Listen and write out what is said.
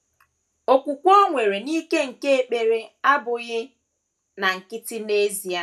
Okwukwe o nwere n’ike nke ekpere abụghị na nkịtị n’ezie.